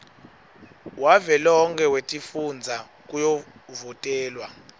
wavelonkhe wetifundza kuyovotelwa